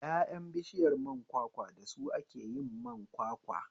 Ƴaƴan bishiyar kwakwa da su ake yin man kwakwa